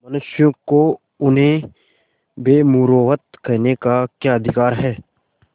मनुष्यों को उन्हें बेमुरौवत कहने का क्या अधिकार है